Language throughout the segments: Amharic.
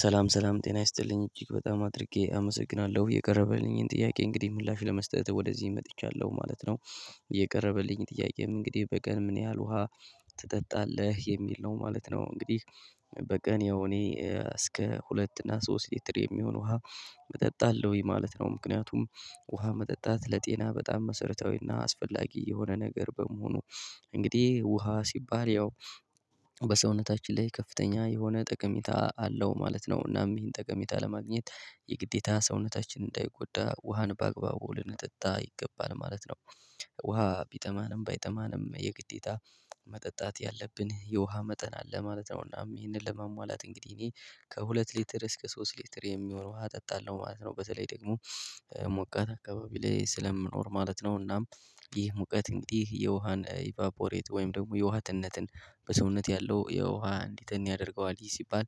ሰላም ሰላም ጤና ይስጥልኝ እጅግ በጣም አድርጌ አመሰግናለሁ የቀረበልኝን ጥያቄ እንግዲህ ምላሽ ለመስጠት ወደዚህ መጥቻለሁ ማለት ነው። የቀረበልኝ ጥያቄም እንግዲህ በቀን ምን ያህል ውሃ ትጠጣለህ የሚል ነው ማለት ነው? እንግዲህ በቀን ያው እኔ እስከ ሁለት እና ሶስት ሊትር የሚሆን ውሃ እጠጣለሁኝ ማለት ነው። ምክንያቱም ውሃ መጠጣት ለጤና በጣም መሰረታዊና አስፈላጊ የሆነ ነገር በመሆኑ። እንግዲህ ውሃ ሲባል ያው በሰውነታችን ላይ ከፍተኛ የሆነ ጠቀሚታ አለው ማለት ነው። እናም ይህን ጠቀሜታ ለማግኘት የግዴታ ሰውነታችን እንዳይጎዳ ውሃን በአግባቡ ልንጠጣ ይገባል ማለት ነው። ውሃ ቢጠማንም ባይጠማንም የግዴታ መጠጣት ያለብን የውሃ መጠን አለ ማለት ነው። እና ይሄንን ለመሟላት እንግዲህ እኔ ከሁለት ሊትር እስከ ሶስት ሊትር የሚሆነው ውሃ እጠጣለሁ ማለት ነው። በተለይ ደግሞ ሙቀት አካባቢ ላይ ስለምኖር ማለት ነው። እናም ይህ ሙቀት እንግዲህ የውሃን ኢቫፖሬት ወይም ደግሞ የውሃ ትንነትን በሰውነት ያለው የውሃ እንዲተን ያደርገዋል ይህ ሲባል።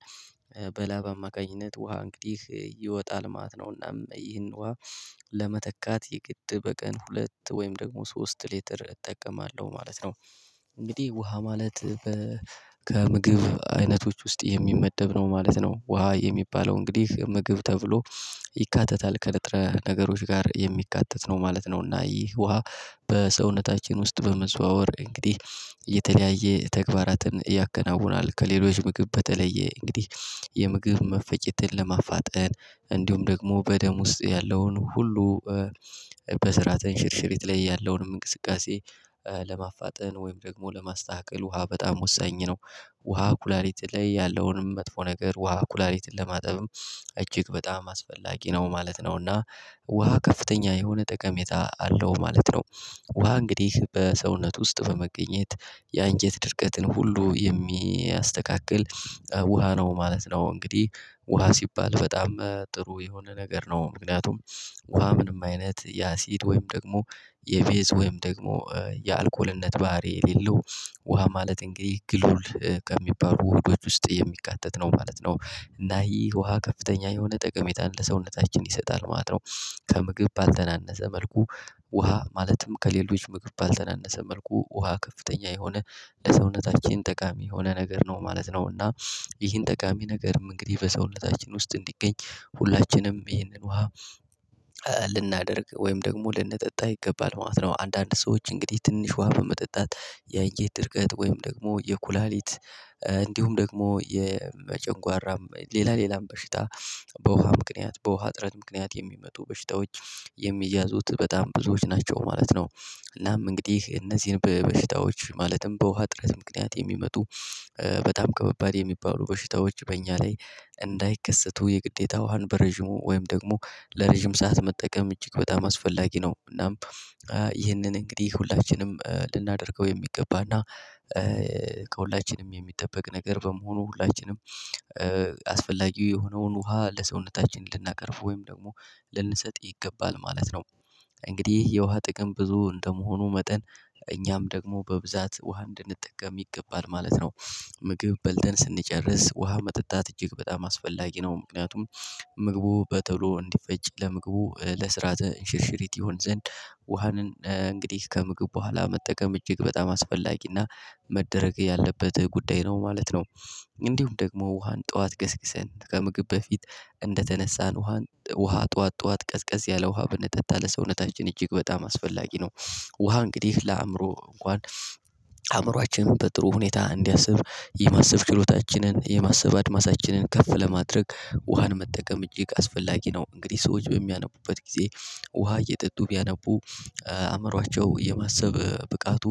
በላብ አማካኝነት ውሃ እንግዲህ ይወጣል ማት ነው። እና ይህን ውሃ ለመተካት የግድ በቀን ሁለት ወይም ደግሞ ሶስት ሊትር እጠቀማለሁ ማለት ነው። እንግዲህ ውሃ ማለት ከምግብ አይነቶች ውስጥ የሚመደብ ነው ማለት ነው። ውሃ የሚባለው እንግዲህ ምግብ ተብሎ ይካተታል ከንጥረ ነገሮች ጋር የሚካተት ነው ማለት ነው። እና ይህ ውሃ በሰውነታችን ውስጥ በመዘዋወር እንግዲህ የተለያየ ተግባራትን ያከናውናል። ከሌሎች ምግብ በተለየ እንግዲህ የምግብ መፈጨትን ለማፋጠን እንዲሁም ደግሞ በደም ውስጥ ያለውን ሁሉ በስራት ሽርሽሪት ላይ ያለውን እንቅስቃሴ ለማፋጠን ወይም ደግሞ ለማስተካከል ውሃ በጣም ወሳኝ ነው። ውሃ ኩላሊቲ ላይ ያለውንም መጥፎ ነገር ውሃ ኩላሊቲን ለማጠብም እጅግ በጣም አስፈላጊ ነው ማለት ነውና። ውሃ ከፍተኛ የሆነ ጠቀሜታ አለው ማለት ነው። ውሃ እንግዲህ በሰውነት ውስጥ በመገኘት ያንጀት ድርቀትን ሁሉ የሚያስተካክል ውሃ ነው ማለት ነው። እንግዲህ ውሃ ሲባል በጣም ጥሩ የሆነ ነገር ነው። ምክንያቱም ውሃ ምንም አይነት የአሲድ ወይም ደግሞ የቤዝ ወይም ደግሞ የአልኮልነት ባህሪ የሌለው ውሃ ማለት እንግዲህ ግሉል ከሚባሉ ወህዶች ውስጥ የሚካተት ነው ማለት ነው። እና ይህ ውሃ ከፍተኛ የሆነ ጠቀሜታ ሰውነታችን ይሰጣል ማለት ነው። ከምግብ ባልተናነሰ መልኩ ውሃ ማለትም ከሌሎች ምግብ ባልተናነሰ መልኩ ውሃ ከፍተኛ የሆነ ለሰውነታችን ጠቃሚ የሆነ ነገር ነው ማለት ነው። እና ይህን ጠቃሚ ነገርም እንግዲህ በሰውነታችን ውስጥ እንዲገኝ ሁላችንም ይህንን ውሃ ልናደርግ ወይም ደግሞ ልንጠጣ ይገባል ማለት ነው። አንዳንድ ሰዎች እንግዲህ ትንሽ ውሃ በመጠጣት ያንጀት ድርቀት ወይም ደግሞ የኩላሊት እንዲሁም ደግሞ የመጨንጓራ ሌላ ሌላም በሽታ በውሃ ምክንያት በውሃ ጥረት ምክንያት የሚመጡ በሽታዎች የሚያዙት በጣም ብዙዎች ናቸው ማለት ነው። እናም እንግዲህ እነዚህን በበሽታዎች ማለትም በውሃ ጥረት ምክንያት የሚመጡ በጣም ከበባድ የሚባሉ በሽታዎች በእኛ ላይ እንዳይከሰቱ የግዴታ ውሃን በረዥሙ ወይም ደግሞ ለረዥም ሰዓት መጠቀም እጅግ በጣም አስፈላጊ ነው። እናም ይህንን እንግዲህ ሁላችንም ልናደርገው የሚገባና ከሁላችንም የሚጠበቅ ነገር በመሆኑ ሁላችንም አስፈላጊው የሆነውን ውሃ ለሰውነታችን ልናቀርፍ ወይም ደግሞ ልንሰጥ ይገባል ማለት ነው። እንግዲህ የውሃ ጥቅም ብዙ እንደመሆኑ መጠን እኛም ደግሞ በብዛት ውሃ እንድንጠቀም ይገባል ማለት ነው። ምግብ በልተን ስንጨርስ ውሃ መጠጣት እጅግ በጣም አስፈላጊ ነው። ምክንያቱም ምግቡ በተሎ እንዲፈጭ ለምግቡ ለስርዓተ እንሽርሽሪት ይሆን ዘንድ ውሃንን እንግዲህ ከምግብ በኋላ መጠቀም እጅግ በጣም አስፈላጊና መደረግ ያለበት ጉዳይ ነው ማለት ነው። እንዲሁም ደግሞ ውሃን ጠዋት ገስግሰን ከምግብ በፊት እንደተነሳን ውሃን ውሃ ጠዋት ጠዋት ቀስቀስ ያለ ውሃ ብንጠጣ ለሰውነታችን እጅግ በጣም አስፈላጊ ነው። ውሃ እንግዲህ ለአእምሮ እንኳን አእምሯችንን በጥሩ ሁኔታ እንዲያስብ የማሰብ ችሎታችንን የማሰብ አድማሳችንን ከፍ ለማድረግ ውሃን መጠቀም እጅግ አስፈላጊ ነው። እንግዲህ ሰዎች በሚያነቡበት ጊዜ ውሃ እየጠጡ ቢያነቡ አእምሮአቸው የማሰብ ብቃቱ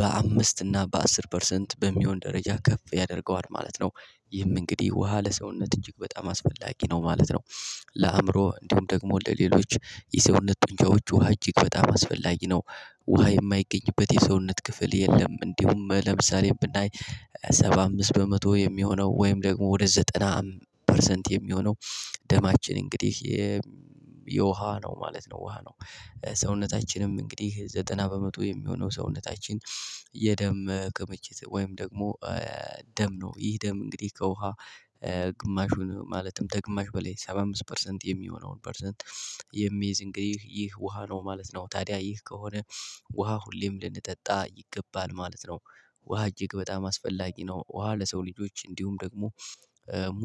በአምስት እና በአስር ፐርሰንት በሚሆን ደረጃ ከፍ ያደርገዋል ማለት ነው። ይህም እንግዲህ ውሃ ለሰውነት እጅግ በጣም አስፈላጊ ነው ማለት ነው። ለአእምሮ እንዲሁም ደግሞ ለሌሎች የሰውነት ውጫዎች ውሃ እጅግ በጣም አስፈላጊ ነው። ውሃ የማይገኝበት የሰውነት ክፍል የለም እንዲሁም ለምሳሌ ብናይ ሰባ አምስት በመቶ የሚሆነው ወይም ደግሞ ወደ ዘጠና ፐርሰንት የሚሆነው ደማችን እንግዲህ የውሃ ነው ማለት ነው ውሃ ነው። ሰውነታችንም እንግዲህ ዘጠና በመቶ የሚሆነው ሰውነታችን የደም ቅምችት ወይም ደግሞ ደም ነው ይህ ደም እንግዲህ ከውሃ ግማሹን ማለትም ከግማሽ በላይ ሰባ አምስት ፐርሰንት የሚሆነውን ፐርሰንት የሚይዝ እንግዲህ ይህ ውሃ ነው ማለት ነው። ታዲያ ይህ ከሆነ ውሃ ሁሌም ልንጠጣ ይገባል ማለት ነው። ውሃ እጅግ በጣም አስፈላጊ ነው። ውሃ ለሰው ልጆች እንዲሁም ደግሞ ሙሉ